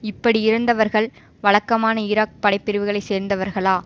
இப்படி இறந்தவர்கள் வழக்கமான ஈராக் படைபிரிவுகளை சேர்ந்தவர்களா